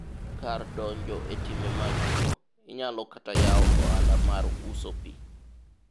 kar donjo e timbe mag kuwo inyalo kata yawo ohala mar uso pi